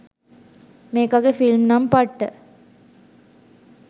මේකගෙ film නම් පට්ට